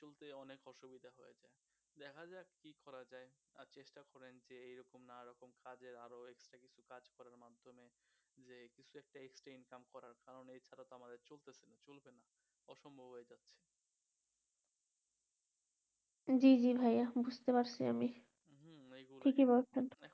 জি জি ভাইয়া বুজতে পারছি আমি ঠিকই বলছেন